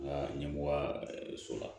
Nka ɲɛmɔgɔya so la